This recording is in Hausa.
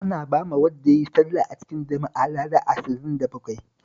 Ana bawa wanda ya yi sallah a cikin jama'a lada ashirin da bakwai